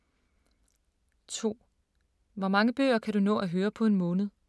2) Hvor mange bøger kan du nå at høre på en måned?